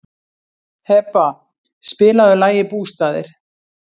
Heba, spilaðu lagið „Bústaðir“.